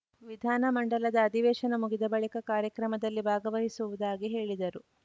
ವಿಧಾನ ಮಂಡಲದ ಅಧಿವೇಶನ ಮುಗಿದ ಬಳಿಕ ಕಾರ್ಯಕ್ರಮದಲ್ಲಿ ಭಾಗವಹಿಸುವುದಾಗಿ ಹೇಳಿದರು